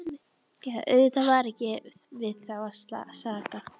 Auðvitað var ekki við þá að sakast.